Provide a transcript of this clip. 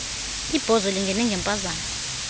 ibhozo lingene ngemphazamo